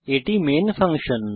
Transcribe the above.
এটি আমাদের main function